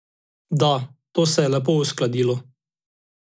Da, to se je lepo uskladilo.